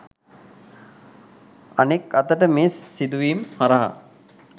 අනෙක් අතට මේ සිදුවීම හරහා